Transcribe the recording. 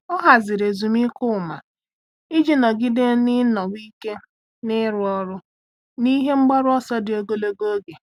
Ọ́ hàzị̀rị̀ ezumike ụ́ma iji nọ́gídé n’ị́nọ́wé ike n’ị́rụ́ ọ́rụ́ na ihe mgbaru ọsọ dị ogologo oge.